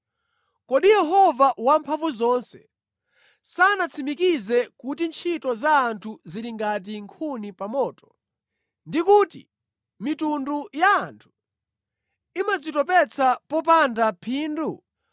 Kodi Yehova Wamphamvuzonse sanatsimikize kuti ntchito za anthu zili ngati nkhuni pa moto, ndi kuti mitundu ya anthu imadzitopetsa popanda phindu?